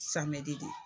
Samɛdɛ